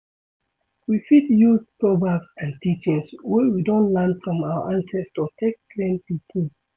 we fit use proverbs and teachings wey we don learn from our ancestor take train pikin